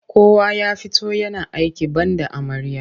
Kowa ya fito yana aiki banda amarya.